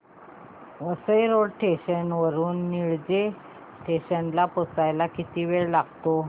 Vasai road station वरून Nilje station ला पोहचायला किती वेळ लागतो